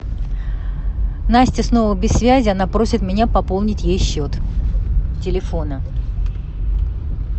настя снова без связи она просит меня пополнить ей счет телефона